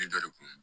Ne da de kun